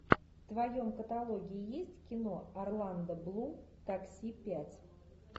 в твоем каталоге есть кино орландо блум такси пять